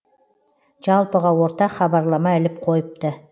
жалпыға ортақ хабарлама іліп қойыпты